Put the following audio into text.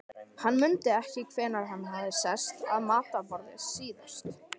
Hann mundi ekki hvenær hann hafði sest að matarborði síðast.